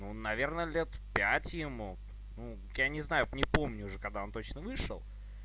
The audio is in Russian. ну наверное лет пять ему ну я не знаю не помню уже когда он точно вышел